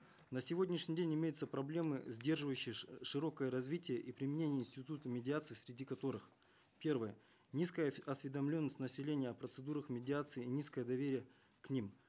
на сегодняшний день имеются проблемы сдерживающие широкое развитие и применение института медиации среди которых первое низкая осведомленность населения о процедурах медиации низкое доверие к ним